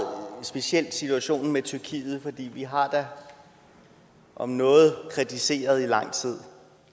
speciel situation med tyrkiet for vi har da om noget kritiseret i lang tid